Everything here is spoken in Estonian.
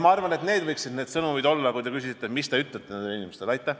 Ma arvan, et need võiksid olla need sõnumid, kui te küsisite, mida nendele inimestele öelda.